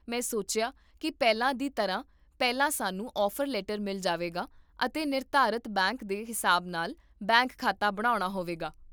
ਮੈਂ ਸੋਚਿਆ ਕੀ ਪਹਿਲਾਂ ਦੀ ਤਰ੍ਹਾਂ, ਪਹਿਲਾਂ ਸਾਨੂੰ ਆਫ਼ਰ ਲੈਟਰ ਮਿਲ ਜਾਵੇਗਾ ਅਤੇ ਨਿਰਧਾਰਤ ਬੈਂਕ ਦੇ ਹਿਸਾਬ ਨਾਲ ਬੈਂਕ ਖਾਤਾ ਬਣਾਉਣਾ ਹੋਵੇਗਾ